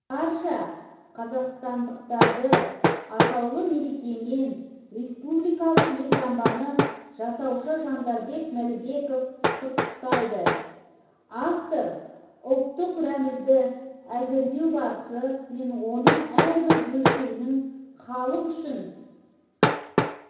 барша қазақстандықтарды атаулы мерекемен республикалық елтаңбаны жасаушы жандарбек мәлібеков құттықтайды автор ұлттық рәмізді әзірлеу барысы мен оның әрбір бөлшегінің халық үшін